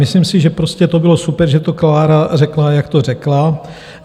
Myslím si, že prostě to bylo super, že to Klára řekla, jak to řekla.